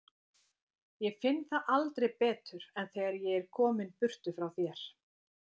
Ég finn það aldrei betur en þegar ég er kominn burtu frá þér.